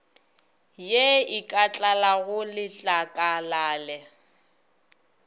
ye e ka tlalago letlakalale